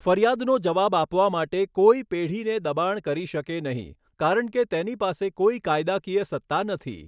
ફરિયાદનો જવાબ આપવા માટે કોઈ પેઢીને દબાણ કરી શકે નહીં, કારણ કે તેની પાસે કોઈ કાયદાકીય સત્તા નથી.